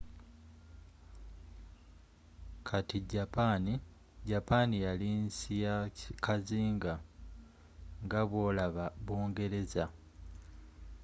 kati japan japan yali nsi ya kazinga nga bwolaba bungereza